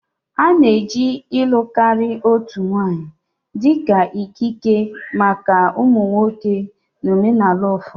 A na-eji ịlụ karịa otu nwanyị dị ka ikike maka ụmụ nwoke na omenala ụfọdụ